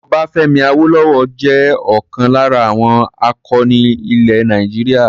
Ọbáfẹ́mi Awólọ́wọ̀ jẹ́ ọlkan lára àwọn akọni ilẹ̀ Nàìjíríà.